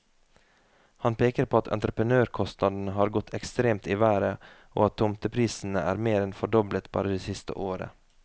Han peker på at entreprenørkostnadene har gått ekstremt i været, og at tomteprisene er mer enn fordoblet bare det siste året.